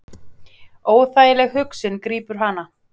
Óþægileg hugsun grípur hana.